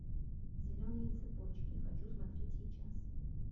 зеленые цепочки хочу смотреть сейчас